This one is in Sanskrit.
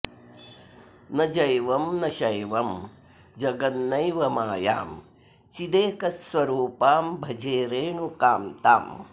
न जैवं न शैवं जगन्नैव मायां चिदेकस्वरूपां भजे रेणुकां ताम्